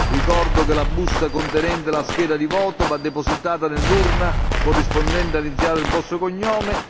Ricordo che la busta contenente la scheda di voto va depositata nell'urna corrispondente all'iniziale del vostro cognome.